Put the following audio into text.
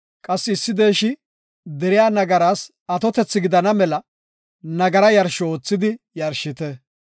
Qassi issi deeshi deriya nagaraas atotethi gidana mela nagara yarsho oothidi yarshite.